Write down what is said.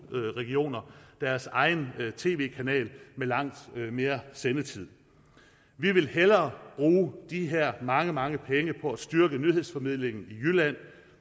regioner deres egen tv kanal med langt mere sendetid vi vil hellere bruge de her mange mange penge på at styrke nyhedsformidlingen i jylland